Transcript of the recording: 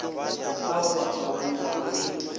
ao o a tswalanyago le